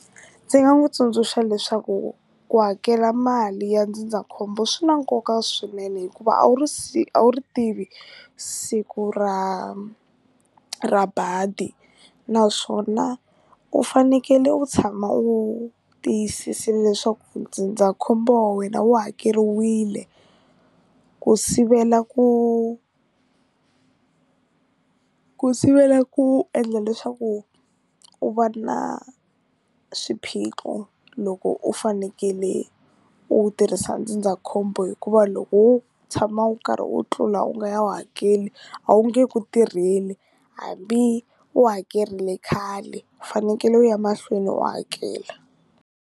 Ndzi nga n'wi tsundzuxa leswaku ku hakela mali ya ndzindzakhombo swi na nkoka swinene hikuva a wu ri a wu ri tivi siku ra ra badi naswona u fanekele u tshama u tiyisisini leswaku ndzindzakhombo wa wena wu hakeriwile ku sivela ku ku sivela ku endla leswaku u va na swiphiqo loko u fanekele u tirhisa ndzindzakhombo hikuva loko u tshama u karhi u tlula u nga ya wu hakeli a wu nge ku tirheli hambi u hakerile khale u fanekele u ya emahlweni u hakela.